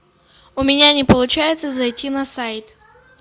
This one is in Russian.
у меня не получается зайти на сайт